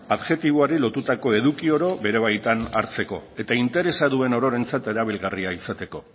adjektiboari lotutako eduko oro bere baitan hartzeko eta interesa duen ororentzat erabilgarria izateko